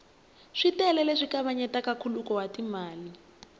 switele leswi kavanyetaka nkhuluko wa timali